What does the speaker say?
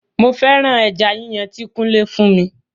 Mo féràn ẹja yíyàn ti kunle fún mi